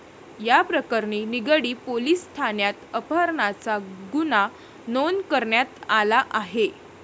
याप्रकरणी निगडी पोलिस ठाण्यात अपहरणाचा गुन्हा नोंद करण्यात आला आहे.